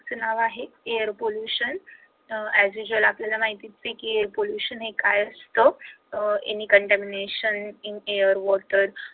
नाव आहे air pollution as visual आपल्याला माहिती आहे pollution हे काय असतं uh any contamination in air water